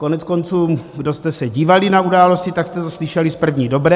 Koneckonců, kdo jste se dívali na Události, tak jste to slyšeli z první dobré.